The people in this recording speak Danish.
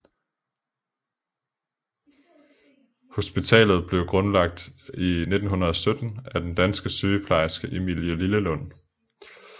Hospitalet blev grundlagt i 1917 af den danske sygeplejerske Emilie Lillelund